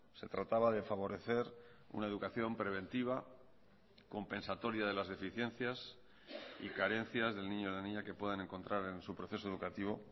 se trataba de favorecer una educación preventiva compensatoria de las deficiencias y carencias del niño o la niña que puedan encontrar en su proceso educativo